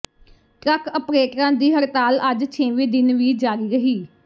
truck ਅਪਰੇਟਰਾਂ ਦੀ ਹੜਤਾਲ ਅੱਜ ਛੇਵੇਂ ਦਿਨ ਵੀ ਜਾਰੀ ਰਹੀ